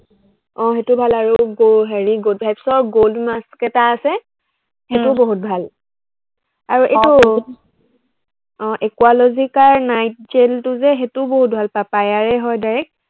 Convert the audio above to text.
আহ সেইটো ভাল আৰু গ হেৰি গভেক্সৰ gold mask এটা আছে উম সেইটোও বহুত ভাল। আৰু এইটো আহ একুৱালজিকাৰ night gel টো যে সেইটো বহুত ভাল, পাপায়াৰে হয় direct